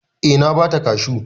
Eh na ba ta kashu.